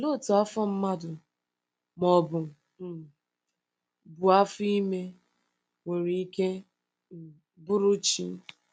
Olee otú afọ mmadụ, ma ọ um bụ afọ ime, nwere ike um bụrụ chi?